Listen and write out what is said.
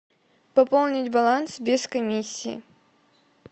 пополнить баланс без комиссии